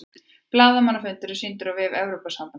Blaðamannafundurinn er sýndur á vef Evrópusambandsins